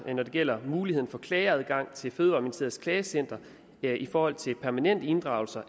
er når det gælder muligheden for klageadgangen til fødevareministeriets klagecenter i forhold til permanente inddragelser